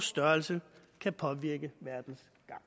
størrelse kan påvirke verdens